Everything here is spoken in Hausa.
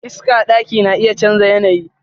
Iska daki na iya chanza yanayi.